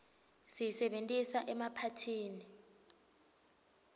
siyisebentisa emaphathini